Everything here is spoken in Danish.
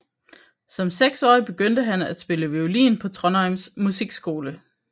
Som seksårig begyndte han at spille violin på Trondheims musikskole